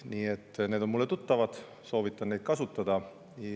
Nii et need on mulle tuttavad, soovitan neid kasutada.